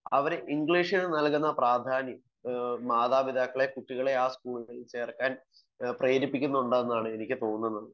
അവർ ഇംഗ്ലീഷിന് കൊടുക്കുന്ന പ്രാധാന്യം മാതാപിതാക്കളെ ആ സ്കൂളുകളിൽ ചേർക്കാൻ പ്രേരിപ്പിക്കുന്നു എന്നാണ് എനിക്ക് തോന്നുന്നത്